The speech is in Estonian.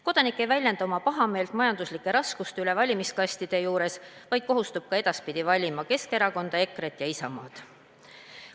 Kodanik ei väljenda oma pahameelt majanduslike raskuste üle valimiskastide juures, vaid kohustub ka edaspidi valima Keskerakonda, EKRE-t ja Isamaad.